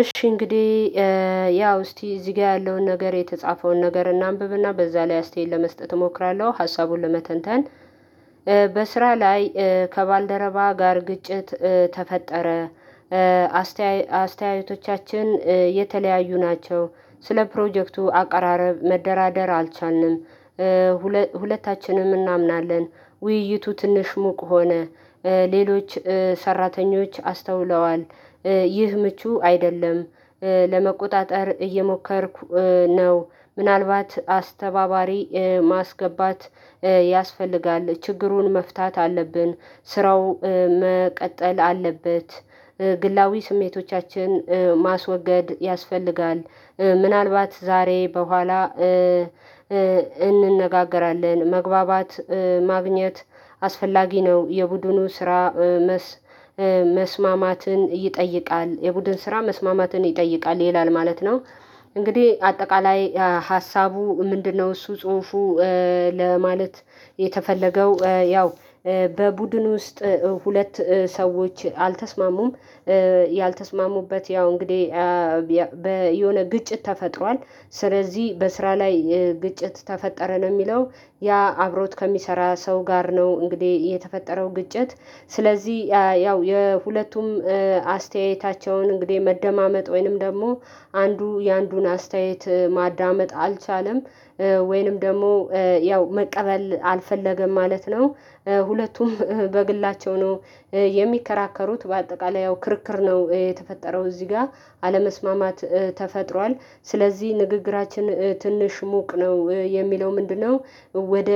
እሺ እንግዲ ያው እስቲ እዚጋ ያለውን ነገር የተጻፈውን ነገር እናንብብና በዛ ላይ አስተያየት ለመስጠት እሞክራለዌ ሀሳቡን ለመተንተን በስራ ላይ ከባልደረባ ጋር ግጭት ተፈጠረ። አስተያየቶቻችን የተለያዩ ናቸው ስለ ፕሮጀክቱ አቀራረብ መደራደር አልቻልንም። ሁለታችንም እናምናለን ውይይቱ ትንሽ ሙቅ ሆነ ሌሎች ሰራተኞች አስተውለዋል። ይህ ምቹ አይደለም። ለመቆጣጠር እየሞከርኩ ነው ምናልባት አስተባባሪ ማስገባት ያስፈልጋል ችግሩን መፍታት አለብን። ስራው መቀጠል አለበት። ግላዊ ስሜቶቻችን ማስወገድ ያስፈልጋል። ምናልባት ዛሬ በኋላ እንነጋገራለን መግባባት ማግኘት አስፈላጊ ነው የቡድኑ ስራ። መስማማትን ይጠይቃል የቡድን ስራ መስማማትን ይጠይቃል ይላል ማለት ነው። እንግዲ አጠቃላይ ሀሳቡ ምንድነው? እሱ ጹሑፋ ለማለት የተፈለገው ያው በቡድን ውስጥ ሁለት ሰዎች አልተስማሙም። ያልተስማሙበት ያው እንግዴ የሆነ ግጭት ተፈጥሯል። ስለዚ በስራ ላይ ግጭት ተፈጠረ ነው ሚለው ያ አብሮት ከሚሰራ ሰው ጋር ነው እንግዴ የተፈጠረው ግጭት። ስለዚ ያው የሁለቱም አስተያየታቸውን እንግዴ መደማመጥ ወይንም ደግሞ አንዱ የአንዱን አስተያየት ማዳመጥ አልቻለም። ወይንም ደግሞ ያው መቀበል አልፈለገም ማለት ነው። ሁለቱም በግላቸው ነው የሚከራከሩት በአጠቃላይ ያው ክርክር ነው የተፈጠረው እዚ ጋ አለመስማማት ተፈጥሯል። ስለዚ ንግግራችን ትንሽ ሞቅ ነው የሚለው ምንድነው? ወደ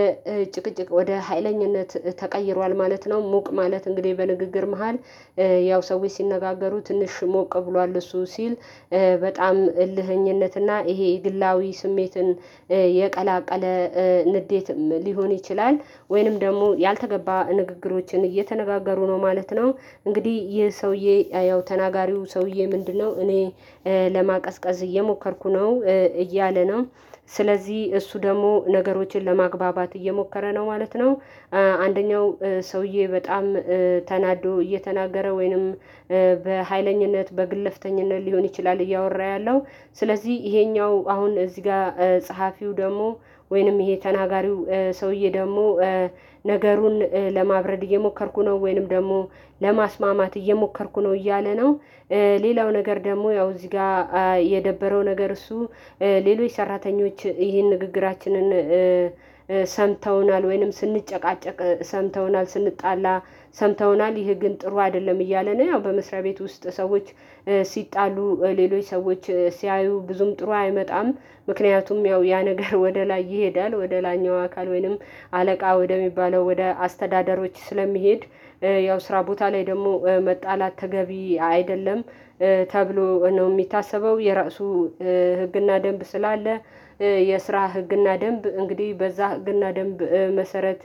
ጭቅጭቅ ወደ ሀይለኝነት ተቀይሯል ማለት ነው። ሞቅ ማለት እንግዴ በንግግር መሃል ያው ሰዎች ሲነጋገሩ ትንሽ ሞቅ ብሏል እሱ ሲል በጣም እልኸኝነትና ይሄ ግላዊ ስሜትን የቀላቀለ ንዴትም ሊሆን ይችላል ወይንም ደግሞ ያልተገባ ንግግሮችን እየተነጋገሩ ነው ማለት ነው። እንግዲ ይህ ሰውዬ ያው ተናጋሪው ሰውዬ ምንድነው እኔ ለማቀዝቀዝ እየሞከርኩ ነው እያለ ነው። ስለዚ እሱ ደግሞ ነገሮችን ለማግባባት እየሞከረ ነው ማለት ነው። አንደኛው ሰውዬ በጣም ተናዶ እየተናገረ ወይንም በሃይለኝነት በግለፍተኝነት ሊሆን ይችላል። እያወራ ያለው ስለዚ ይሄኛው አሁን እዚ ጋ ጸሐፊው ደግሞ ወይንም ይሄ ተናጋሪው ሰውዬ ደግሞ ነገሩን ለማብረድ እየሞከርኩ ነው ወይንም ደግሞ ለማስማማት እየሞከርኩ ነው እያለ ነው። ሌላው ነገር ደግሞ ያው እዚ ጋ የደበረው ነገር እሱ ሌሎች ሰራተኞች ይህን ንግግራችንን ሰምተውናል ወይንም ስንጨቃጨቅ ሰምተውናል ስንጣላ ሰምተውናል ይሄ ግን ጥሩ አደለም እያለ ነው። ያው በመስሪያ ቤት ውስጥ ሰዎች ሲጣሉ ሌሎች ሰዎች ሲያዩ ብዙም ጥሩ አይመጣም። ምክንያቱም ያው ያ ነገር ወደ ላይ ይሄዳል ወደ ላኛው አካል ወይንም አለቃ ወደሚባለው ወደ አስተዳደሮች ስለሚሄድ ያው ስራ ቦታ ላይ ደግሞ መጣላት ተገቢ አይደለም። ተብሎ ነው ሚታሰበው የራሱ ህግና ደንብ ስላለ የስራ ህግና ደንብ እንግዲ በዛ ህግና ደንብ መሰረት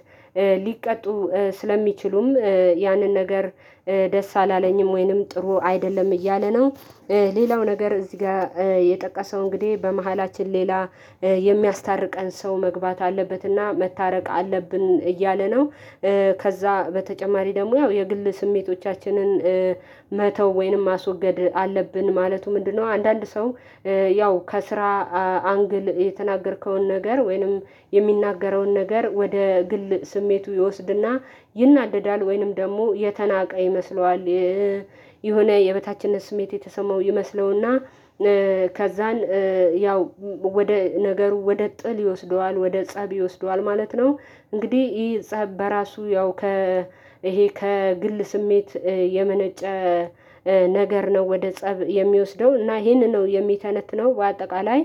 ሊቀጡ ስለሚችሉም ያንን ነገር ደስ አላለኝም ወይንም ጥሩ አይደለም እያለ ነው። ሌላው ነገር እዚህጋር የጠቀሰው እንግዲ በመሃላችን ሌላ የሚያስታርቀን ሰው መግባት አለበትና መታረቅ አለብን እያለ ነው። ከዛ በተጨማሪ ደግሞ ያው የግል ስሜቶቻችንን መተው ወይንም ማስወገድ አለብን ማለቱ ምንድነው? አንዳንድ ሰው ያው ከስራ አንግል የተናገርከውን ነገር ወይንም የሚናገረውን ነገር ወደ ግል ስሜቱ ይወስድና ይናደዳል ወይንም ደግሞ የተናቀ ይመስለዋል። የሆነ የበታችነት ስሜት የተሰማው ይመስለውና ከዛን ያው ወደ ነገሩ ወደ ጥል ይወስደዋል ወደ ፀብ ይወስደዋል ማለት ነው። እንግዲ ይህ ፀብ በራሱ ያው ከ ይሄ ከግል ስሜት የመነጨ ነገር ነው ወደ ፀብ የሚወስደው እና ይሄንን ነው የሚተነትነው በአጠቃላይ።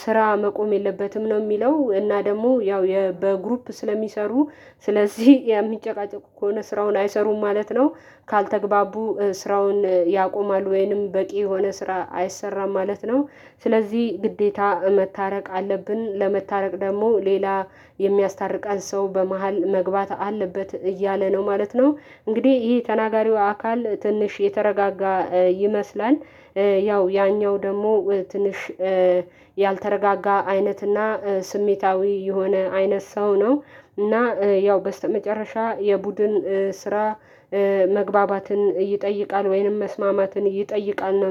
ስራ መቆም የለበትም ነው ሚለው እና ደግሞ ያው በግሩፕ ስለሚሰሩ ስለዚህ የሚጨቃጨቁ ከሆነ ስራውን አይሰሩም ማለት ነው። ካልተግባቡ ስራውን ያቆማሉ ወይንም በቂ የሆነ ስራ አይሰራም ማለት ነው። ስለዚ ግዴታ መታረቅ አለብን ለመታረቅ ደግሞ ሌላ የሚያስታርቃን ሰው በመሃል መግባት አለበት እያለ ነው ማለት ነው። እንግዲ ይሄ ተናጋሪው አካል ትንሽ የተረጋጋ ይመስላል ያው ያኛው ደግሞ ትንሽ ያልተረጋጋ አይነትና ስሜታዊ የሆነ አይነት ሰው ነው። እና ያው በስተመጨረሻ የቡድን ስራ መግባባትን ይጠይቃል ወይንም መስማማትን ይጠይቃል